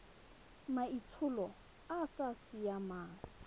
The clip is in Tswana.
maitsholo a a sa siamang